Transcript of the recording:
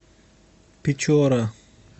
печора